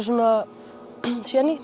svona